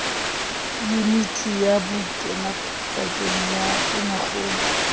yuniti ya bokenadipakeng ya tonakgolo